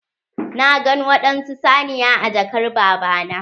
Na gan waɗansu saniya a jakar baba na.